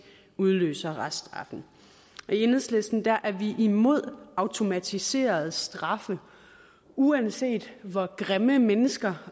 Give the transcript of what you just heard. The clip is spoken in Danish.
udløser reststraffen i enhedslisten er er vi imod automatiserede straffe uanset hvor grimme mennesker